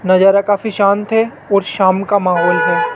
नजारा काफी शांत है और शाम का माहौल है।